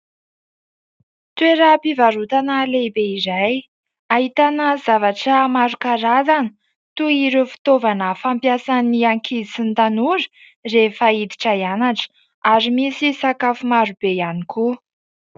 Toeram-pivarotana lehibe , izay ahitana zavatra maro karazana ; toy ireo fitaovana fampiasan'ny ankizy sy ny tanora rehefa iditra hianatra , ary misy sakafo maro be ihany koa .